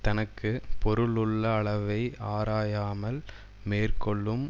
தனக்கு பொருள் உள்ள அளவை ஆராயாமல் மேற்கொள்ளும்